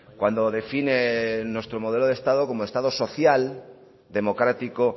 cuando define nuestro modelo de estado como estado social democrático